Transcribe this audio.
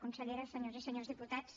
consellera senyores i senyors diputats